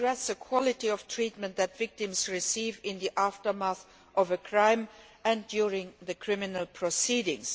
This will address the quality of treatment that victims receive in the aftermath of a crime and during the criminal proceedings.